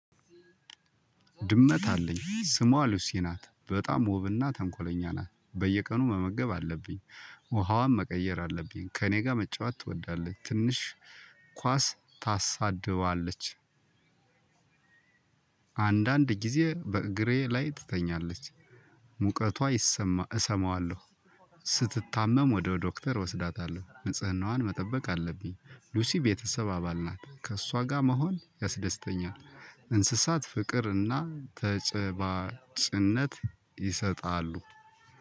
ድመት አለኝ ስሟ ሉሲ ናት በጣም ውብና ተንኮለኛ ናት በየቀኑ መመገብ አለብኝ። ውሃዋም መቀየር አለብኝ ከእኔ ጋር መጫወት ትወዳለች ትንሽ ኳስ ታሳድባለች። አንዳንድ ጊዜ በእግሬ ላይ ትተኛለች። ሙቀቷ እሰማዋለሁ። ስትታመም ወደ ዶክተር እወስዳታለሁ ንጽህናዋን መጠበቅ አለብኝ። ሉሲ ቤተሰብ አባል ናት ከእሷ ጋር መሆን ያስደስተኛል። እንስሳት ፍቅር እና ተጨባጭነት ይሰጣሉ።